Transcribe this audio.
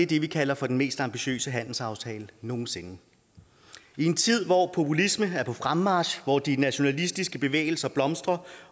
det vi kalder for den mest ambitiøse handelsaftale nogen sinde i en tid hvor populisme er på fremmarch hvor de nationalistiske bevægelser blomstrer